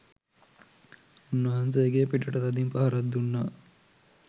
උන්වහන්සේගේ පිටට තදින් පහරක් දුන්නා.